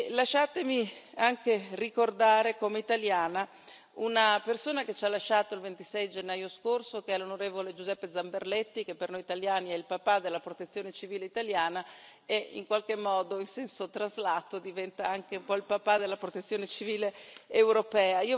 Lasciatemi anche ricordare, come italiana, una persona che ci ha lasciato il 26 gennaio scorso, l'onorevole Giuseppe Zamberletti, che per noi italiani è il papà della protezione civile italiana, e in qualche modo, in senso traslato, diventa anche un po' il papà della protezione civile europea.